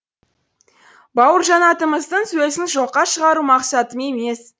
бауыржан атамыздың сөзін жоққа шығару мақсатым емес